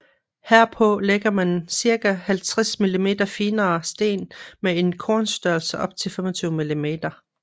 Herpå lægger man ca 50 mm finere sten med en kornstørrelse op til 25 mm